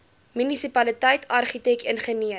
munisipaliteit argitek ingenieur